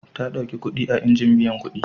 Ta ɗauki kuɗi a injin biyan kuɗi.